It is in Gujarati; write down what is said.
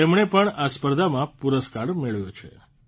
તેમણે પણ આ સ્પર્ધામાં પુરસ્કાર મેળવ્યો છે